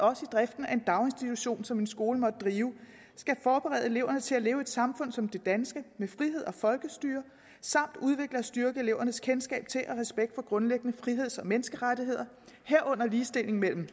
også i driften af en daginstitution som en skole måtte drive skal forberede eleverne til at leve i et samfund som det danske med frihed og folkestyre samt udvikle og styrke elevernes kendskab til og respekt for grundlæggende friheds og menneskerettigheder herunder ligestilling mellem